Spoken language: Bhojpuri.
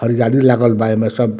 आर गाड़ी लागल बा एमें सब।